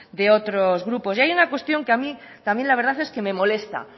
de otros grupos y hay una cuestión que a mí también la verdad es que me molesta